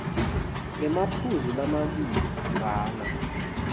ngemaphuzu lamabili bhala